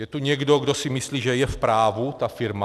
Je tu někdo, kdo si myslí, že je v právu ta firma?